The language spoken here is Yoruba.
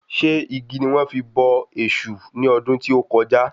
Ṣé igi ni wọ́n fi bọ èṣù ní ọdún tí o kọjá?